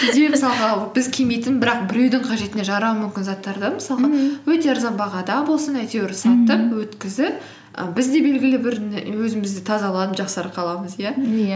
мысалға біз кимейтін бірақ біреудің қажетіне жарауы мүмкін заттарды мысалға өте арзан бағада болсын әйтеуір сатып өткізіп і біз де белгілі бір өзімізді тазаланып жақсарып қаламыз иә иә